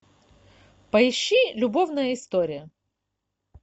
поищи любовная история